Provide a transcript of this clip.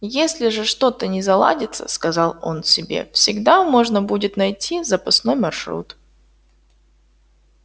если же что-то не заладится сказал он себе всегда можно будет найти запасной маршрут